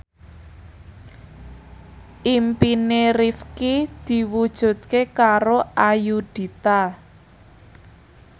impine Rifqi diwujudke karo Ayudhita